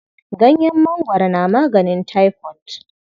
Ganyen mangwaro na maganin taifot.